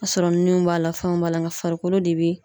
A sɔrɔ ninnu b'a la fɛnw b'a la, nka farikolo de bi